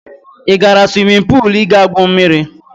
Ị gara swimin puul ị ga-gwuo mmiri?